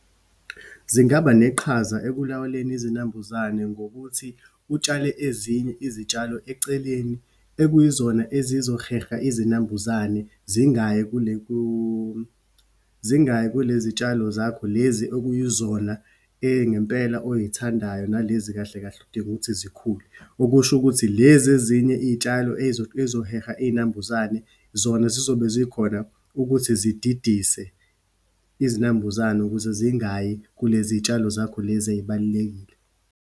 Zingaba neqhaza ekulawuleni izinambuzane ngokuthi, utshale ezinye izitshalo eceleni, ekuyizona ezizoheha izinambuzane, zingayi kule ku, zingayi kulezitshalo zakho lezi okuyizona engempela oyithandayo, nalezi kahle kahle odinga ukuthi zikhule. Okusho ukuthi, lezi ezinye iyitshalo eyizoheha iyinambuzane, zona zizobe zikhona ukuthi zididise izinambuzane ukuze zingayi kuleziyitshalo zakho, lezi eyibalulekile.